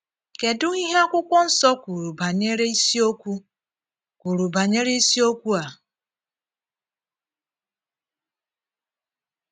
Kedu ihe Akwụkwọ Nsọ kwuru banyere isiokwu kwuru banyere isiokwu a?